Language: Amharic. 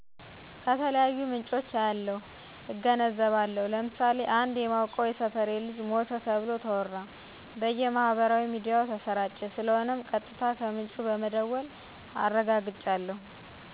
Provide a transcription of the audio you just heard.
ከተለያዩ ምንጮች አያለሁ፣ እገነዘባለሁ፣ ለምሳሌ አንድ የማቀው የሶፌሬት ልጅ ሞተ ተብሎ ተወራ፣ በየ ማህበራዊ ሚዲያዎች ተሰራጨ ስለሆነም ቀጥታ ከምንጩ በመደወል አረጋግጫለሁ።